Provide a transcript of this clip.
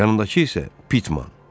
Yanındakı isə Pitman.